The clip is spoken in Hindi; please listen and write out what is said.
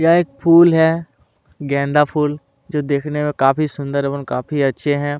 यह एक फूल है गेंदा फूल जो देखने में काफी सुंदर एवं काफी अच्छे है।